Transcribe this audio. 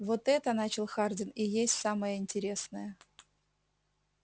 вот это начал хардин и есть самое интересное